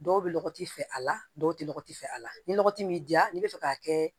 Dɔw bɛ lɔgɔti fɛ a la dɔw tɛ lɔgɔ ti fɛ a la ni lɔgɔti m'i diya n'i bɛ fɛ k'a kɛ